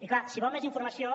i clar si vol més informació